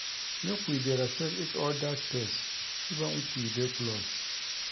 Make we dey respect each oda space even if we dey close.